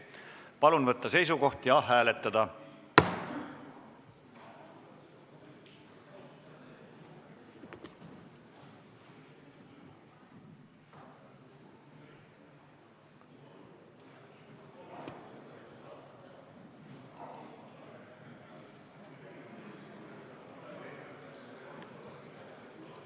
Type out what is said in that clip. Palun võtta seisukoht ja hääletada!